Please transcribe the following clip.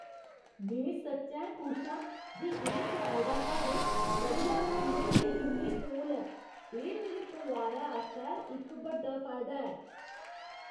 में सच्चैं खुश आं जे एह् कराए दा घर बधिया स्कूलें दे इन्ने कोल ऐ। एह् मेरे परोआरै आस्तै इक बड्डा फायदा ऐ।